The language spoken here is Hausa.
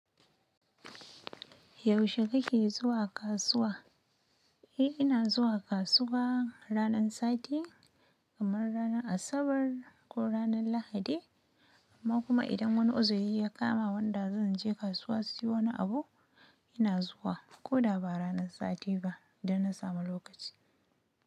Yaushe kake zuwa kasuwa. Eh ina zuwa kasuwa ranar sati kamar ranar Asabar ko ranar Lahadi, amma kuma idan wani oziri ya kama wanda zan je kasuwa siyo wani abu ina zuwa. Ko da ba ranar sati ba idan na samu lokaci.